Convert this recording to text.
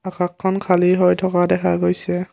আকাশখন খালী হৈ থকা দেখা গৈছে।